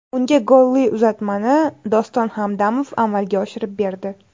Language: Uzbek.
Unga golli uzatmani Doston Hamdamov amalga oshirib berdi.